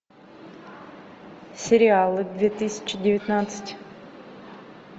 сериалы две тысячи девятнадцать